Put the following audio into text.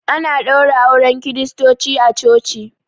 Ana ɗaura auren kiristoci a coci